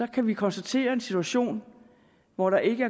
kan vi konstatere en situation hvor der ikke